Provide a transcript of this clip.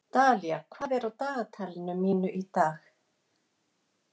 Dalía, hvað er á dagatalinu mínu í dag?